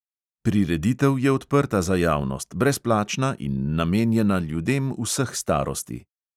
Prireditev je odprta za javnost, brezplačna in namenjena ljudem vseh starosti.